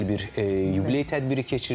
Gözəl bir yubiley tədbiri keçirilib.